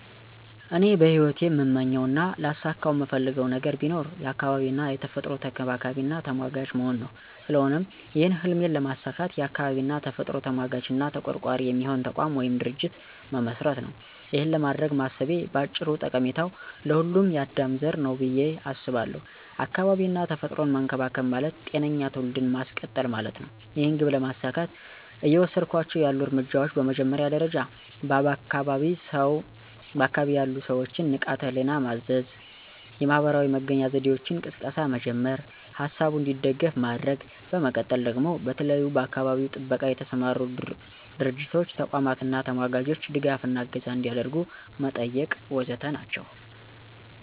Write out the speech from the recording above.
እኔ በሂወቴ እምመኘው እና ላሳከው እምፈልገው ነገር ቢኖር የአካባቢ እና የተፈጥሮ ተንከባካቢና ተሟጋች መሆን ነው። ስለሆነም ይህን ህልሜን ለማሳካት የአካባቢ እና የተፈጥሮ ተሟጋች እና ተቆርቋሪ የሚሆን ተቋም ወይም ድርጅት መመስረት ነው። ይኸን ለማድረግ ማሰቤ ባጭሩ ጠቀሜታው ለሁሉም የአዳም ዘር ነው ብየ አስባለው። አካባቢ እና ተፈጥሮን መንከባከብ ማለት ጤነኛ ትውልድን ማስቀጠል ማለት ነው። ይህን ግብ ለማሳካት እየወሰድኳቸው ያሉ እርምጃዎች በመጀመሪያ ደረጃ በአካባቢ ያሉ ሰወችን ንቃተ ህሊና ማስያዝ፣ የማህበራዊ መገናኛ ዘዴወች ቅስቀሳ መጀመር፥ ሀሳቡ እንዲደግፍ ማድረግ፤ በመቀጠል ደግሞ በተለያዩ በአካባቢ ጥበቃ የተሰማሩ ድርቶች፥ ተቋማት አና ተሟጋቾች ድጋፍ እና እገዛ አንዲያደርጉ መጠየቅ ወዘተ ናቸው።